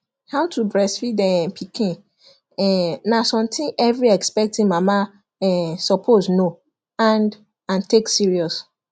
how to breastfeed um pikin um na something every expecting mama um suppose know and and take serious